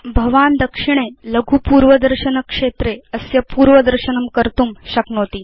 भवान् दक्षिणे लघु पूर्वदर्शन क्षेत्रे अस्य पूर्वदर्शनं कर्तुं शक्नोति